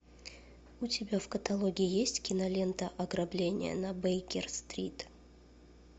у тебя в каталоге есть кинолента ограбление на бейкер стрит